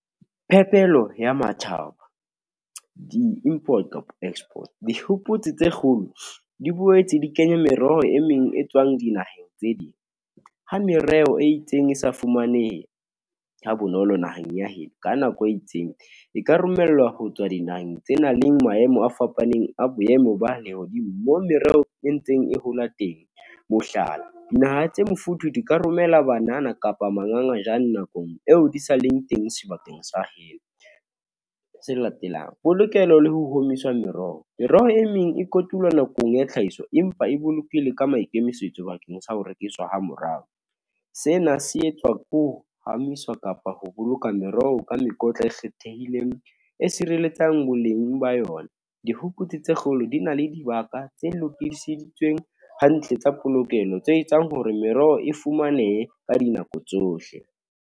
Phepelo ya matjhaba, di import kapa export, Dihopotse tse kgolo di boetse di kenya meroho e meng e tswang dinaheng tse ding, ho mereho e itseng, e sa fumaneheng, ha bonolo naheng ya heno, ka nako e itseng, e ka romellwa ho tswa dinaheng tse nang le maemo a fapaneng, a boemo ba lehodimo. Moo mereho e ntseng e hola teng, mohlala, dinaha tse mofuthu di ka romela banana, kapa mangangajane nakong eo di sa leng teng sebakeng sa heno, tse latelang polokelo le ho omiswa meroho. Meroho e meng e kotulwe nakong ya tlhahiso, empa e boloke le ka maikemisetso bakeng sa ho rekiswa ha morao. Sena se etswa ke ho phahamiswa kapa ho boloka meroho oo ka mekotla e kgethehileng, e sireletsang boleng ba yona, dihukutse tse kgolo di na le dibaka, tse lokiseditsweng hantle tsa polokelo, tse etsang hore meroho e fumanehe ka dinako tsohle.